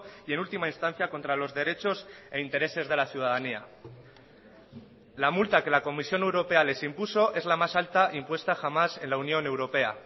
y en última instancia contra los derechos e intereses de la ciudadanía la multa que la comisión europea les impuso es la más alta impuesta jamás en la unión europea